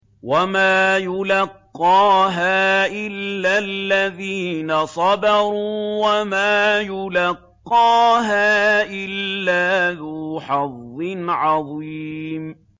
وَمَا يُلَقَّاهَا إِلَّا الَّذِينَ صَبَرُوا وَمَا يُلَقَّاهَا إِلَّا ذُو حَظٍّ عَظِيمٍ